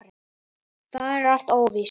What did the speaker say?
Það er alls óvíst.